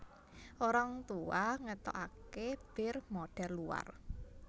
Orang Tua ngetoake bir modhel luar